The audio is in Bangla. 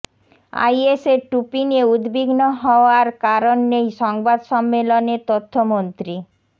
আইএসের টুপি নিয়ে উদ্বিগ্ন হওয়ার কারণ নেই সংবাদ সম্মেলনে তথ্যমন্ত্রী